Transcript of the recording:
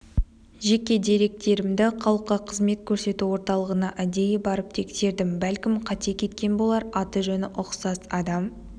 жеке деректерімді халыққа қызмет көрсету орталығына әдейі барып тексердім бәлкім қате кеткен болар аты-жөні ұқсас адам